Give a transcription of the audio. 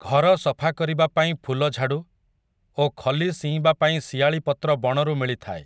ଘର ସଫା କରିବା ପାଇଁ ଫୁଲଝାଡ଼ୁ, ଓ ଖଲି ସିଇଁବା ପାଇଁ ଶିଆଳି ପତ୍ର ବଣରୁ ମିଳିଥାଏ ।